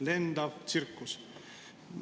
Lendav tsirkus.